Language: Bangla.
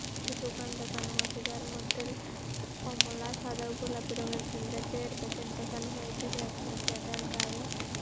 একটি দোকান দেখানো হয়েছে যার মধ্যেল কমলা সাদা ও গোলাপি রং এর কিন্ডারজয়ের প্যাকেট দেখানো হয়েছে ক্রেতা বিক্রেতার গায়ে--